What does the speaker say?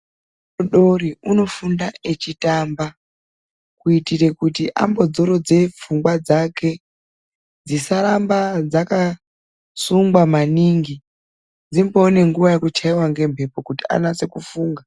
Mwana mudodori unofunda echitamba kuitira kuti ambozorodze pfungwa dzake dzisaramba dzakasungwa maningi dzimboone nguwa yekuchaiwa ngemhepo kuti anase kufunga.